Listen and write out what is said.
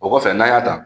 O kɔfɛ n'an y'a ta